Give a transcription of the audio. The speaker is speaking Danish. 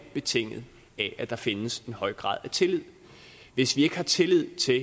betinget af at der findes en høj grad af tillid hvis vi ikke har tillid til